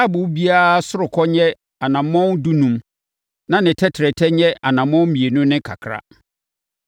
Taaboo biara ɔsorokɔ nyɛ anammɔn dunum na ne tɛtrɛtɛ nyɛ anammɔn mmienu ne kakra.